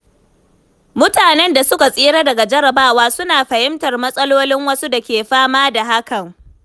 Mutanen da suka tsira daga jarabawa suna fahimtar matsalolin wasu da ke fama da hakan.